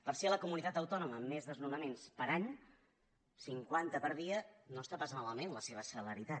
per ser la comunitat autònoma amb més desnonaments per any cinquanta per dia no està pas malament la seva celeritat